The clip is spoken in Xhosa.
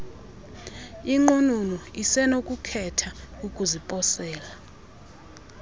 inqununu isenokukhetha ukuziposela